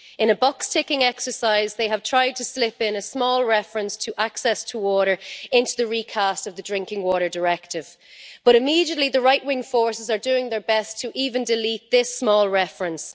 In a box ticking exercise, they have tried to slip a small reference to access to water into the recast of the Drinking Water Directive, but immediately the right wing forces are doing their best to delete even this small reference.